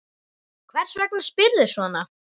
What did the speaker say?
Hvers vegna spyrðu svona?